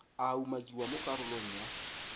a umakiwang mo karolong ya